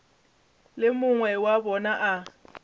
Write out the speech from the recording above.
le mongwe wa bona o